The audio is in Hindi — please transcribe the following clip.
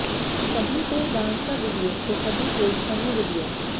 कभी कोई डांस का वीडियो तो कभी कोई फनी वीडियो